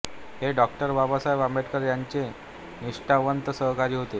हे डॉ बाबासाहेब आंबेडकर यांचे निष्ठावंत सहकारी होते